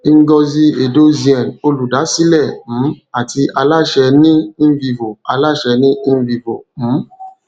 ngozi edozien olùdásílẹ um àti aláṣẹ ní invivo aláṣẹ ní invivo um